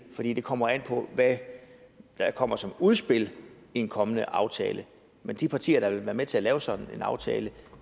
fordi det kommer an på hvad der kommer som udspil i en kommende aftale men de partier der vil være med til at lave sådan en aftale